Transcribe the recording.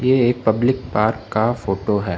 ये एक public park का फोटो है।